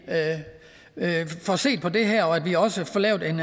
får set på det her og at vi også får lavet en